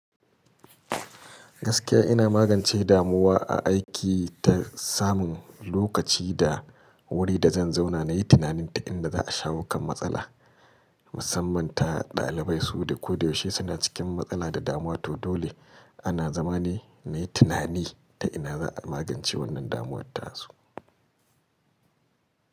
Gaskiya ina magance damuwa a aiki ta samun lokaci da wuri da zan zauna na yi tunanin ta inda za a shawo kan matsala. Musamman ta ɗalibai su da koyaushe suna cikin matsala da damuwa, to dole ana zama ne na yi tunani ta ina za a magance wannan damuwar tasu.